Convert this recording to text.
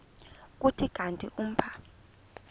kuthi kanti umpha